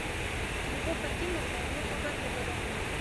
любовь акимовна нурмагомедова